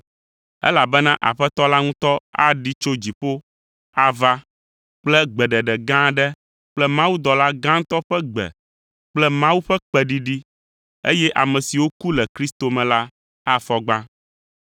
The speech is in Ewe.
Elabena Aƒetɔ la ŋutɔ aɖi tso dziƒo ava kple gbeɖeɖe gã aɖe kple mawudɔla gãtɔ ƒe gbe kple Mawu ƒe kpẽɖiɖi, eye ame siwo ku le Kristo me la afɔ gbã.